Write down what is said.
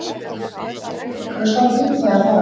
Það var enginn leikur að standa upp þegar þar að kom.